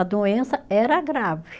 A doença era grave.